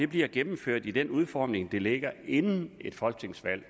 bliver gennemført i den udformning den ligger inden et folketingsvalg